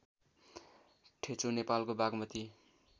ठेचो नेपालको बाग्मती